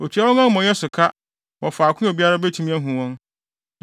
Otua wɔn amumɔyɛsɛm so ka wɔ faako a obiara betumi ahu wɔn,